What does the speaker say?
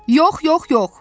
Yox, yox, yox!